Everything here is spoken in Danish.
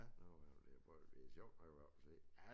Nu har jeg i hvert fald det prøvet det sjovt at komme op og se